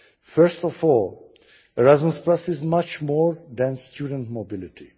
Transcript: First of all, Erasmus is much more than student mobility.